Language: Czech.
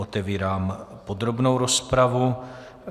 Otevírám podrobnou rozpravu.